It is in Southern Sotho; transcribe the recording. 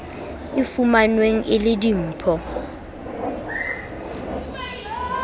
e fumanweng e le dimpho